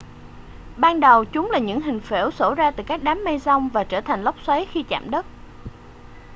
ban đầu chúng là những hình phễu xổ ra từ các đám mây giông và trở thành lốc xoáy khi chạm đất